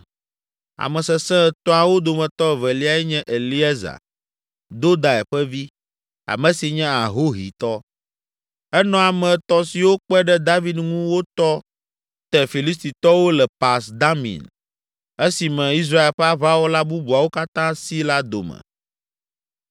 Ame Sesẽ Etɔ̃awo dometɔ eveliae nye Eleazar, Dodai ƒe vi, ame si nye Ahohitɔ. Enɔ ame etɔ̃ siwo kpe ɖe David ŋu wotɔ te Filistitɔwo le Pas Damim esime Israel ƒe aʋawɔla bubuawo katã si la dome.